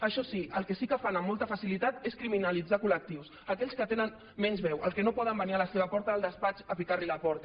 això sí el que sí que fan amb molta facilitat és criminalitzar collectius aquells que tenen menys veu els que no poden venir a la seva porta al despatx a picar los a la porta